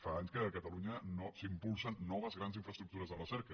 fa anys que a catalunya no s’impulsen noves grans infraestructures de recerca